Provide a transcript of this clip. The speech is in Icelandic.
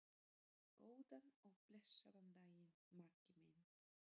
Góðan og blessaðan daginn, Maggi minn.